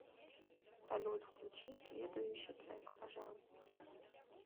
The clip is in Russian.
салют включи следующий трек пожалуйста